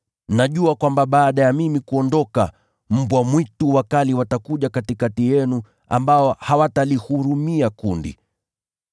Najua kwamba baada yangu kuondoka, mbwa mwitu wakali watakuja katikati yenu ambao hawatalihurumia kundi.